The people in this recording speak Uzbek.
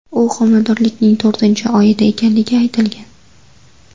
U homiladorlikning to‘rtinchi oyida ekanligi aytilgan.